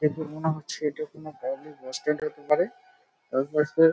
দেখে মনে হচ্ছে এটি কোনো পাবলিক হোস্টেল হতে পারে। তার পাশে--